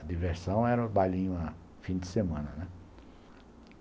A diversão era o bailinho no fim de semana, né.